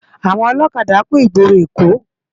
Awòn òlòkádá kún igbóró Ekó